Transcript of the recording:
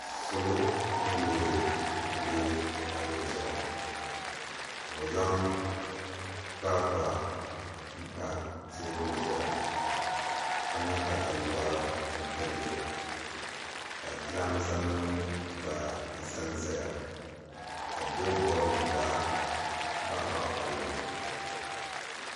Salo mini loori n bɛ palli zuɣu ka bi zaŋ kpaakpa n pa teebuli zuɣu ka niŋ kataluwa n pilli ka jiranbiisa nim gba ʒɛnʒɛya ka biik bood nim gba baɣa baɣa palli maa